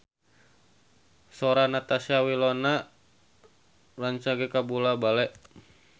Sora Natasha Wilona rancage kabula-bale